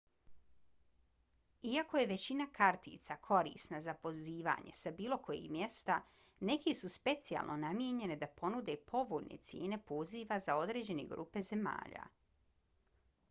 iako je većina kartica korisna za pozivanje sa bilo kojeg mjesta neke su specijalno namijenjene da ponude povoljne cijene poziva za određene grupe zemalja